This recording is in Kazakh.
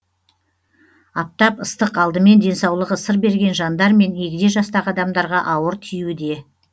аптап ыстық алдымен денсаулығы сыр берген жандар мен егде жастағы адамдарға ауыр тиюде